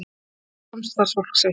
Skaut á samstarfsfólk sitt